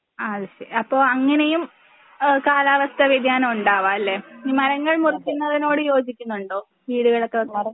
അത് ശരി അപ്പൊ അങ്ങനെയും ഏഹ് കാലാവസ്ഥാവ്യതിയാനം ഉണ്ടാവാം അല്ലേ? ഈ മരങ്ങൾ മുറിക്കുന്നതിനോട് യോജിക്കുന്നുണ്ടോ? വീടുകളൊക്കെ വെക്കാൻ